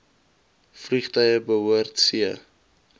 vliegtuie behoort c